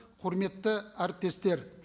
құрметті әріптестер